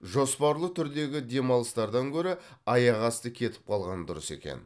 жоспарлы түрдегі демалыстардан гөрі аяқ асты кетіп қалған дұрыс екен